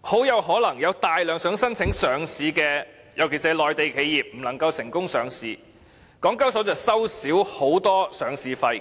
很可能有大量想申請上市的公司，尤其是內地企業不能成功上市，港交所便會少收很多上市費。